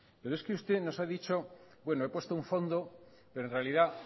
pero es que usted nos ha dicho bueno he puesto un fondo pero en realidad